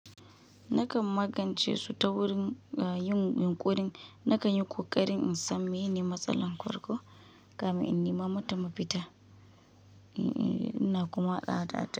Nakan magance su ta wurin yin yunƙuri. Nakan yi ƙoƙari in san miyene matsalar farko, kamin in nima mata mafita ina kuma tsada ta.